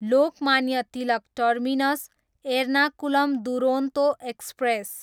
Lokmanya Tilak terminus, Ernakulam Duronto express